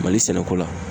Mali sɛnɛko la